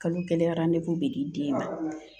Kalo kelen be di den ma